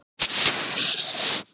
Kolfinna, lækkaðu í græjunum.